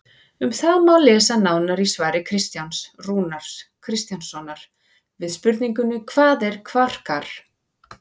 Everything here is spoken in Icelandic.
Um það má lesa nánar í svari Kristjáns Rúnars Kristjánssonar við spurningunni Hvað eru kvarkar?